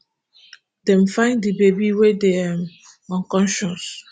dem find di baby wey dey um unconscious